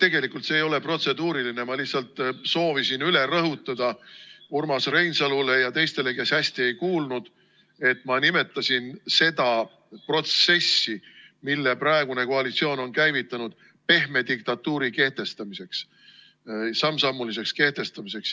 Tegelikult see ei ole protseduuriline, ma lihtsalt soovisin üle rõhutada Urmas Reinsalule ja teistele, kes hästi ei kuulnud, et ma nimetasin seda protsessi, mille praegune koalitsioon on käivitanud, sammsammuliseks pehme diktatuuri kehtestamiseks.